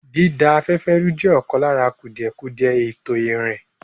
Dída afẹ́fẹ́ rú jẹ́ ọ̀kan lára kùdìẹ̀kudiẹ ètò ìrìn.